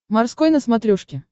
морской на смотрешке